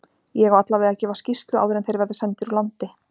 Ég á allavega að gefa skýrslu áður en þeir verða sendir úr landi.